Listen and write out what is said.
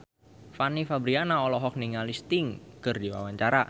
Fanny Fabriana olohok ningali Sting keur diwawancara